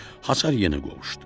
Hasar yenə qovuşdu.